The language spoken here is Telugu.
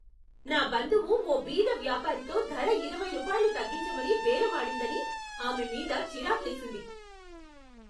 నా బంధువు ఓ బీద వ్యాపారితో ధర ఇరవై రూపాయలు తగ్గించమని బేరమాడిందని ఆమె మీద చిరాకేసింది.